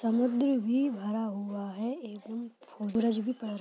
समुद्र भी भरा हुआ है एकदम सूरज भी पड़ --